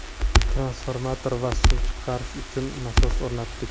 Transformator va suv chiqarish uchun nasos o‘rnatdik.